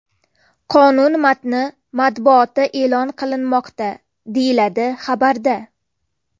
Qonun matni matbuotda e’lon qilinmoqda”, deyiladi xabarda.